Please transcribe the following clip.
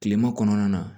Kilema kɔnɔna na